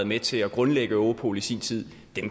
med til at grundlægge europol i sin tid